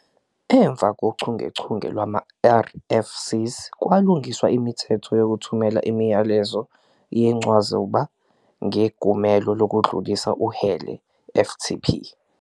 Emva kochungechunge lwama-RFCs, kwalungiswa imithetho yokuthumela imiyalezo yencwazuba ngeGumelo lokuDlulisa uHele, FTP.